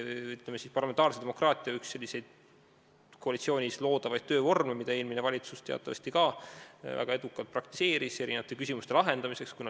Tegu on parlamentaarse demokraatia puhul tavalise koalitsioonis loodava töövormiga, mida eelmine valitsus teatavasti ka väga edukalt praktiseeris erinevate küsimuste lahendamiseks.